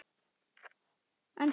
Neistar fljúga.